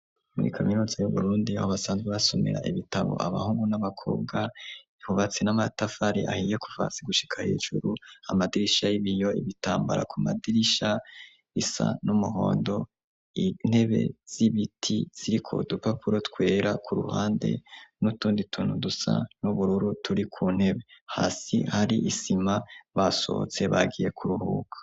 Muri kaminuza y'uburundi aho basanzwe basomera ibitabo abahungu n'abakobwa ihubatse n'amatafari ahiye kuvasi gushika hejuru amadirisha y'ibiyo ibitambara ku madirisha isa n'umuhondo intebe z'ibiti ziriko dupapuro twera ku ruhande n'utundi tuntu dusa n'ubururu turi ku ntebe hasi hari isima basohotse bagiye ku ruhuka.